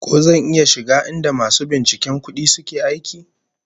Ko zan iya shiga inda masu binciken kudi suke aiki?